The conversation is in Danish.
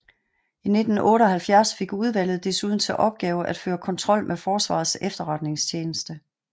I 1978 fik udvalget desuden til opgave at føre kontrol med Forsvarets Efterretningstjeneste